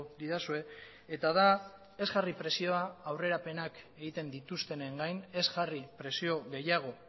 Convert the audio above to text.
didazue eta da ez jarri presioa aurrerapenak egiten dituztenen gain ez jarri presio gehiago